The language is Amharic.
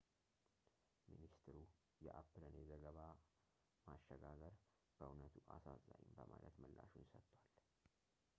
ሚኒስትሩ የአፕልን የዘገባ ማሸጋገር በዕውነቱ አሳዛኝ በማለት ምላሹን ሰጥቷል